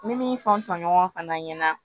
N bɛ min fɔ n tɔɲɔgɔn fana ɲɛna